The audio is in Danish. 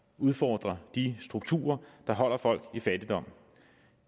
udfordre de strukturer der holder folk i fattigdom